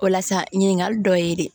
O la sa ɲininkali dɔ ye de